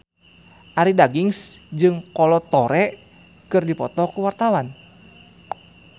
Arie Daginks jeung Kolo Taure keur dipoto ku wartawan